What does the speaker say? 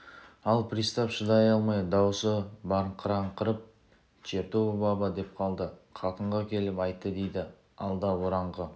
ал пристав шыдай алмай дауысы барқыраңқырап чертова баба деп қалды қатынға келіп айтты дейді алда ораңқы